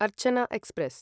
अर्चन एक्स्प्रेस्